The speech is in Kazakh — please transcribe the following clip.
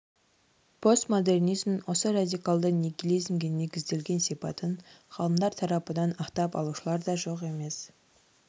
постмодернизмнің осы радикалды нигилизмге негізделген сипатын ғалымдар тарапынан ақтап алушылар да жоқ емес